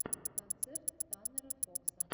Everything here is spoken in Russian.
концерт таннера фокса